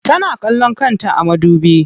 Tana kallon kanta a madubi.